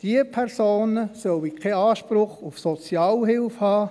Diese Personen sollen keinen Anspruch auf Sozialhilfe haben.